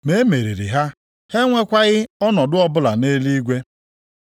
ma e meriri ha, ha enwekwaghị ọnọdụ ọbụla nʼeluigwe.